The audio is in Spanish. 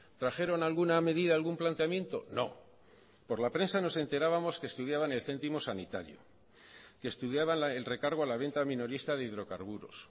trajeron alguna medida algún planteamiento no por la prensa nos enterábamos que estudiaban el céntimo sanitario que estudiaban el recargo a la venta minorista de hidrocarburos